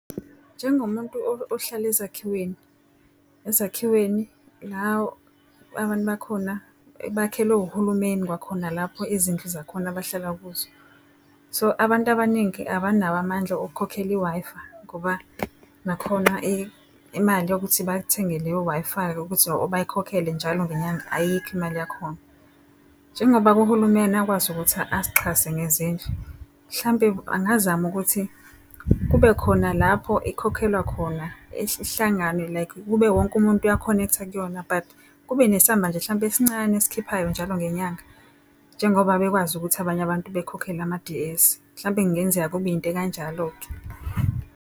Njengomuntu ohlala ezakhiweni, ezakhiweni la abantu bakhona bakhelwe uhulumeni kwakhona lapho izindlu zakhona abahlala kuzo. So abantu abaningi abanawo amandla okukhokhela i-Wi-Fi ngoba nakhona imali yokuthi bathenge leyo Wi-Fi ukuthi bayikhokhele njalo ngenyanga, ayikho imali yakhona. Njengoba-ke uhulumeni akwazi ukuthi asixhase ngezindlu mhlampe angazama ukuthi kube khona lapho ikhokhelwa khona, ihlangane like kube wonke umuntu uyakhonektha kuyona but kube nesamba nje hlampe esincane esikhiphayo njalo ngenyanga. Njengoba bekwazi ukuthi abanye abantu bekhokhele ama-D_S mhlawumbe kungenzeka kube into ekanjalo-ke.